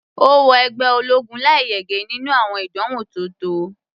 Ó wọ ẹgbẹ́ ológun láì yege nínú àwọn ìdánwò tó tọ́.